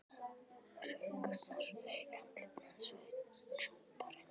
Hrukkurnar í andliti hans voru djúpar en fáar.